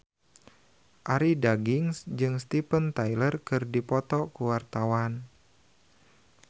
Arie Daginks jeung Steven Tyler keur dipoto ku wartawan